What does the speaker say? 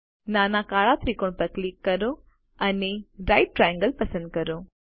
નાના કાળા ત્રિકોણ પર ક્લિક કરો અને રાઇટ ટ્રાયેંગલ પસંદ કરો